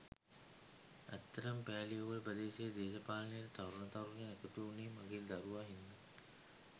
ඇත්තටම පෑලියගොඩ ප්‍රදේශයේ දේශපාලනයට තරුණ තරුණියන් එකතු වුණේ මගේ දරුවා හින්දා.